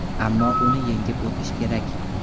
Ammo uni yengib o‘tish kerak.